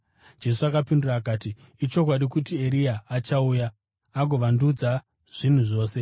Jesu akapindura akati, “Ichokwadi kuti Eria achauya agovandudza zvinhu zvose.